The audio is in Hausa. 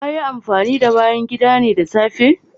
Kayi amfanin da bayan gidane da safe?